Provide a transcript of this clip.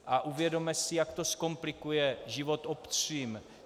A uvědomme si, jak to zkomplikuje život obcím.